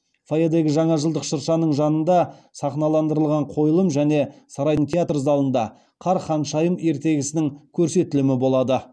фойедегі жаңа жылдық шыршаның жанында сахналандырылған қойылым және сарайдың театр залында қар ханшайым ертегісінің көрсетілімі болады